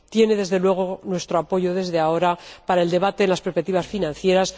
Tiene, desde luego, nuestro apoyo desde ahora para el debate sobre las perspectivas financieras.